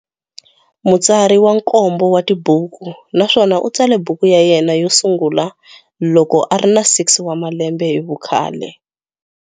Mutsari wa nkombo wa tibuku naswona u tsale buku ya yena yo sungula loko a ri na 6 wa malembe hi vukhale.